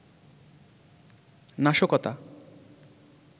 নাশকতা